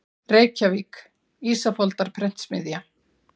Reykjavík: Ísafoldarprentsmiðja.